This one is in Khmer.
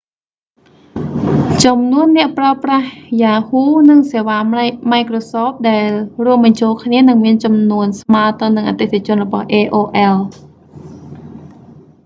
ចំនួនអ្នកប្រើប្រាស់ yahoo និងសេវា microsoft ដែលរួមបញ្ចូលគ្នានឹងមានចំនួនស្មើទៅនឹងអតិថិជនរបស់ aol